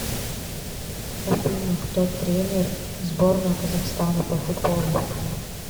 афина кто тренер сборная казахстана по футболу